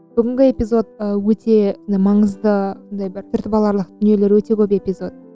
бүгінгі эпизод өте маңызды сондай бір түртіп аларлық дүниелер өте көп эпизод